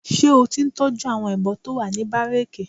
Ṣé o ti ń tọ́jú àwọn ìbọn tó wà ní bárékè?